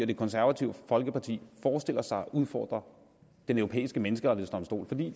det konservative folkeparti forestiller sig at udfordre den europæiske menneskerettighedsdomstol for det